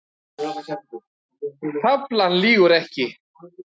Taflan lýgur ekki